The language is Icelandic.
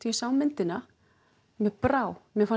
sá myndina mér brá mér fannst